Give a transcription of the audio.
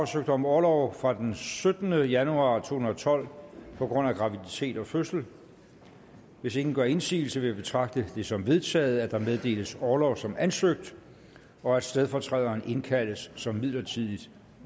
søgt om orlov fra den syttende januar to tusind og tolv på grund af graviditet og fødsel hvis ingen gør indsigelse vil jeg betragte det som vedtaget at der meddeles orlov som ansøgt og at stedfortræderen indkaldes som midlertidigt